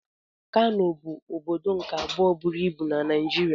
Kano bụ ọbọdọ nke abụọ bụrụ ịbụ n'ala Naijiria.